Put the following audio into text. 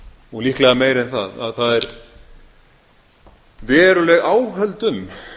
og líklega meira en það að það eru veruleg áhöld um